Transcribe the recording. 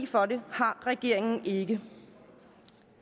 for det har regeringen ikke